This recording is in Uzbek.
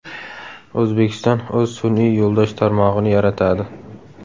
O‘zbekiston o‘z sun’iy yo‘ldosh tarmog‘ini yaratadi.